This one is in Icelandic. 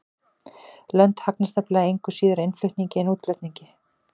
Lönd hagnast nefnilega engu síður á innflutningi en útflutningi.